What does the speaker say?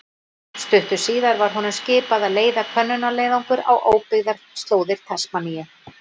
Stuttu síðar var honum skipað að leiða könnunarleiðangur á óbyggðar slóðir Tasmaníu.